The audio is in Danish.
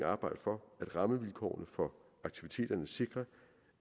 arbejde for at rammevilkårene for aktiviteterne sikrer